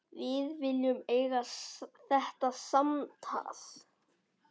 Við viljum eiga þetta samtal.